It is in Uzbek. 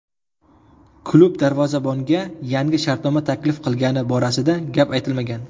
Klub darvozabonga yangi shartnoma taklif qilgani borasida gap aytilmagan.